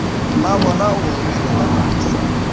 mmabona o gorogile ka masa